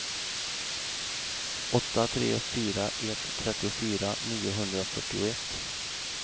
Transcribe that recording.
åtta tre fyra ett trettiofyra niohundrafyrtioett